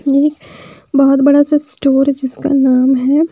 ये एक बहुत बड़ा सा स्टोर है जिसका नाम है।